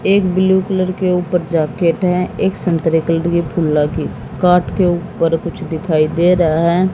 एक blue colour के ऊपर जैकेट है। एक संतरे के लिए फुल की काट के ऊपर कुछ दिखाई दे रहा है।